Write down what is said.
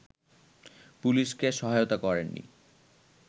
পুলিশকে সহায়তা করেননি